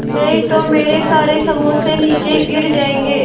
नहीं तो मेरे सारे समोसे नीचे गिर जायेंगे